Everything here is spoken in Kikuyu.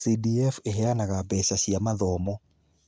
CDF ĩheanaga mbeca cia mathomo.